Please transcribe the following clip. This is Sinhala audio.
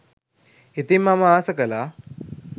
ඉතිං මම ආස කළා